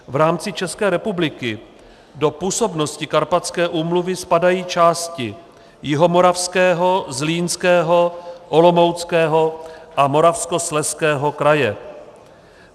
V rámci České republiky do působnosti Karpatské úmluvy spadají části Jihomoravského, Zlínského, Olomouckého a Moravskoslezského kraje.